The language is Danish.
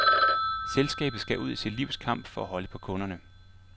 Selskabet skal ud i sit livs kamp for at holde på kunderne.